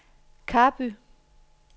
Karby